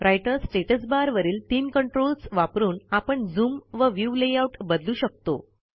writer status बारवरील तीन controls वापरून आपण झूम व व्ह्यू लेआउट बदलू शकतो